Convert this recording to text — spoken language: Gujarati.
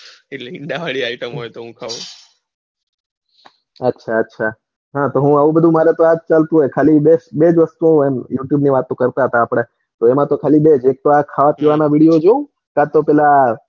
ઈંડા વળી item તો ખાઉં અચ્છા અચ્છા હા તો આજ ચાલતું હોય ખાલી બેજ વસ્તુ એ હોય youtube ની વાતો કરતા હતા એમાં તો ખાલી બે જ એક ખાવા પીવાની video જોઉં ને કાતો પેલા,